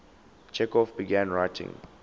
chekhov began writing